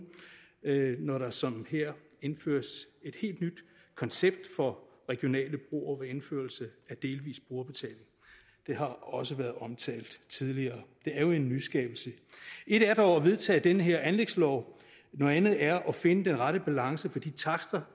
når der som her indføres et helt nyt koncept for regionale broer ved indførelse af delvis brugerbetaling det har også været omtalt tidligere det er jo en nyskabelse et er dog at vedtage den her anlægslov noget andet er at finde den rette balance for de takster